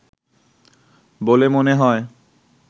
বলে মনে হয়